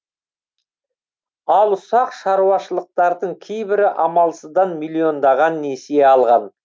ал ұсақ шаруашылықтардың кейбірі амалсыздан миллиондаған несие алған